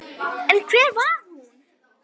En hver var hún?